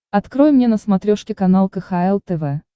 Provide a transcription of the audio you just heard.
открой мне на смотрешке канал кхл тв